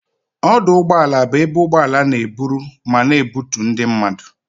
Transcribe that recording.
Ọdụ ụgbọala bụ ebe ụgbọala n'eburu ma na ebutu ndị mmadụ